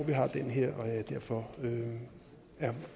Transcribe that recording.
vi har den her og at jeg derfor er